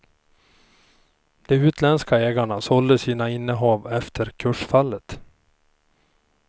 De utländska ägarna sålde sina innehav efter kursfallet.